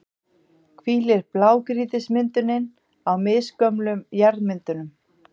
hvílir blágrýtismyndunin á misgömlum jarðmyndunum.